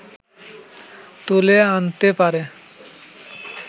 তুলে আনতে পারে